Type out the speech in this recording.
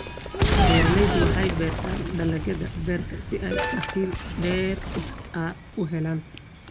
Beeraleydu waxay beertaan dalagyada beerta si ay dakhli dheeraad ah u helaan.